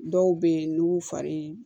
Dɔw bɛ yen n'u y'u fari